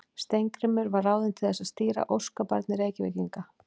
Steingrímur var ráðinn til að stýra þessu óskabarni Reykvíkinga.